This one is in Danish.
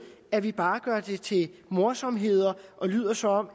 at vi bare gør det til morsomheder og lyder som om